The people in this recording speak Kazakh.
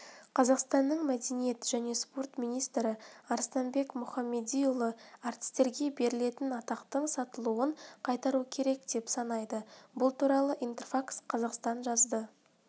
қазақстанның мәдениет және спорт министрі арыстанбек мұхамедиұлы әртістерге берілетін атақтың сатылануын қайтару керек деп санайды бұл туралы интерфакс-қазақстан жазды